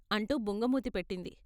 అంటూ బుంగ మూతి పెట్టింది.